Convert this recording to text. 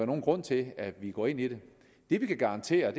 nogen grund til at vi går ind i det det vi kan garantere